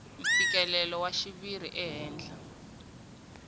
mfikelelo wa xiviri ehenhla ka